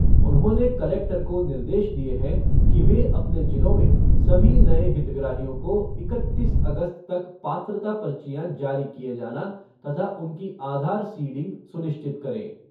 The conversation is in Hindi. उन्होंने कलेक्टर को निर्देश दिए हैं कि वे अपने जिलों में सभी नए हितग्राहियों को इकतीस अगस्त तक पात्रता पर्चियां जारी किए जाना तथा उनकी आधार सीडिंग सुनिश्चित करें।